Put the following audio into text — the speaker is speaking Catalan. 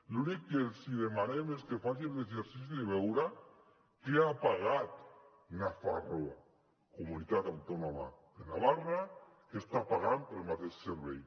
l’únic que els demanem és que facin l’exercici de veure què ha pagat nafarroa comunitat autònoma de navarra què està pagant pel mateix servei